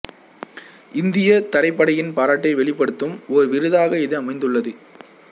இந்தியத் தரைப்படையின் பாராட்டை வெளிப்படுத்தும் ஓர் விருதாக இது அமைந்துள்ளது